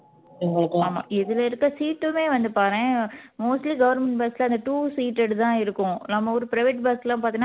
இதுல இருக்க seat உமே பாறேன் mostly government bus ல அந்த two seated தான் இருக்கும் நம்ம ஊரு private bus ல பாத்தீன்னா